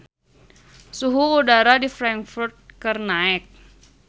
Suhu udara di Frankfurt keur naek